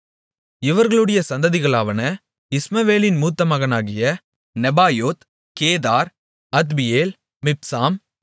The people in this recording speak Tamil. இவர்களுடைய சந்ததிகளாவன இஸ்மவேலின் மூத்த மகனாகிய நெபாயோத் கேதார் அத்பியேல் மிப்சாம்